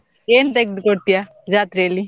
ಏನ್ ತೆಗ್ದು ಕೊಡ್ತಿಯಾ ಜಾತ್ರೆಯಲ್ಲಿ?